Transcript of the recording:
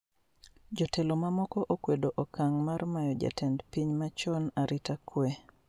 Jotelo mamoko okwedo okang' mar mayo jatend piny machon arita kwee